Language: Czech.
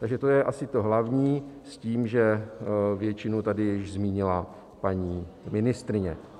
Takže to je asi to hlavní s tím, že většinu tady již zmínila paní ministryně.